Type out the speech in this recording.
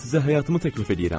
Mən sizə həyatımı təklif eləyirəm.